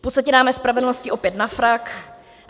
V podstatě dáme spravedlnosti opět na frak.